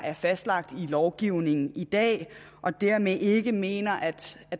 er fastlagt i lovgivningen i dag og dermed ikke mener at